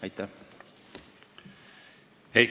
Aitäh!